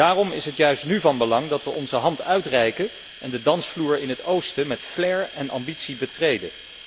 Daarom is het juist nu van belang dat we onze hand uitreiken en de dansvloer in het oosten met flair en ambitie betreden.